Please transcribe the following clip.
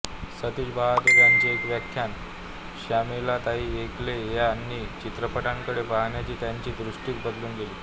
सतीश बहादूर यांचे एक व्याख्यान श्यामलाताईंनी ऐकले आणि चित्रपटांकडे पाहण्याची त्यांची दृष्टीच बदलून गेली